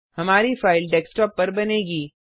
हमारी file desktop पर बनेगी